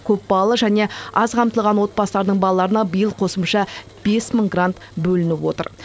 көпбалалы және аз қамтылған отбасылардың балаларына биыл қосымша бес мың грант бөлініп отыр